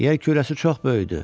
Yer kürəsi çox böyükdür.